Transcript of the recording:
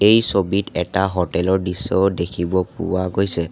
এই ছবিত এটা হোটেল ৰ দৃশ্যও দেখিব পোৱা গৈছে।